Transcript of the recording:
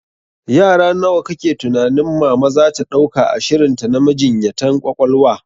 Yara nawa kake tunanin mama zata dauka a shirinta na majinyatan ƙwaƙwalwa?